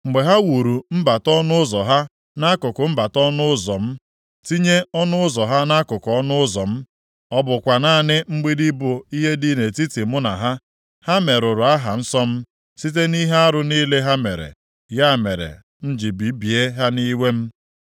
Mgbe ha wuru mbata ọnụ ụzọ ha nʼakụkụ mbata ọnụ ụzọ m, tinye ọnụ ụzọ ha nʼakụkụ ọnụ ụzọ m, ọ bụkwa naanị mgbidi bụ ihe dị nʼetiti mụ na ha. Ha merụrụ aha nsọ m site nʼihe arụ niile ha mere. Ya mere m ji bibie ha nʼiwe m.